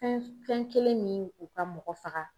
Fɛn fɛn kelen min u ka mɔgɔ faga.